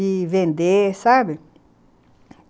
E vender, sabe?